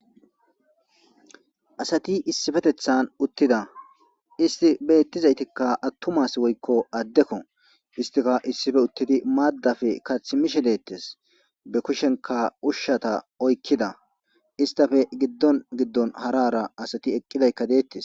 Asati issifetethan uttida isti beettizaytikka attumas woykko addekko istika issife uttidi maaddafe kathimishe deettes be kushenka ushshata oykkida istafe giddon giddon harara asati eqqidaykka deettes.